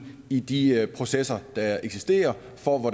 i de processer der eksisterer hvor